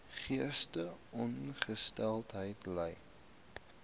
geestesongesteldheid ly